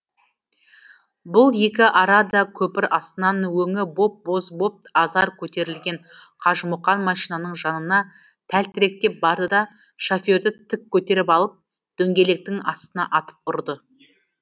бұл екі арада көпір астынан өңі боп боз боп азар көтерілген қажымұқан машинаның жанына тәлтіректеп барды да шоферді тік көтеріп алып дөңгелектің астына атып ұрды